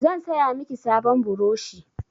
Zan saya miki sabon burushi.